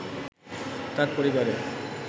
তার পরিবারে